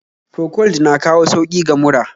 Procold na kawo sauki ga mura